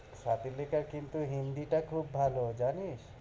স্বাতীলেখার কিন্ত হিন্দিটা খুব ভালো, জানিস?